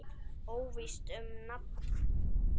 Óvíst um nafn.